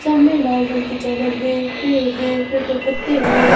सामने लाल रंग की चादर है पेड़ हैं पेड़ पर पत्ते हैं।